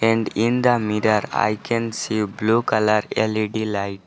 End in the mirror i can see blue colour L_E_D light.